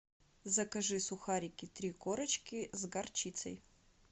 закажи сухарики три корочки с горчицей